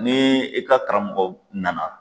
Ni e ka karamɔgɔ nana